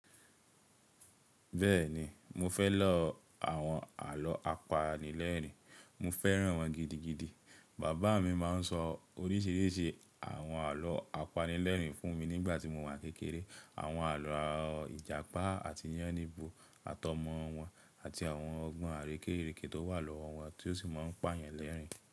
Bẹ́ẹ̀ni mo fẹ́ lọ àwọn àlọ́ apanilẹ́rin, mo fẹ́ràn wọn gidigidi. Bàbá mi máa ń sọ oríṣìíríṣìí àwọn àlọ́ apanilẹ́rin fún mi nígbà tí mo wà kékeré. Àwọn àlọ́ ìjàpá àti yánníbo àtọmọ wọn àti àwọn ọgbọ́n àrékérékè tó wà lọ́wọ́ wọn tí ó sì máa ń pà yan lẹ́rìn-ín.